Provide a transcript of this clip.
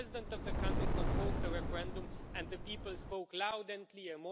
The President of the country convoked a referendum and the people spoke loud and clear.